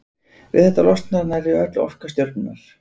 Við þetta losnar nærri öll orka stjörnunnar.